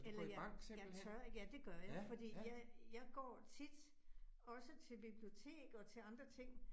Eller jeg jeg tør ikke, ja det gør jeg. Fordi jeg jeg går tit også til bibliotek og til andre ting